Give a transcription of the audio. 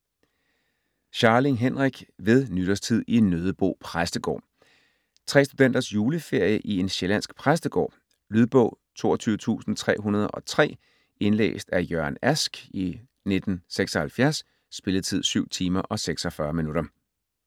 Scharling, Henrik: Ved nytårstid i Nøddebo præstegård Tre studenters juleferie i en sjællandsk præstegård. Lydbog 22303 Indlæst af Jørgen Ask, 1976. Spilletid: 7 timer, 46 minutter.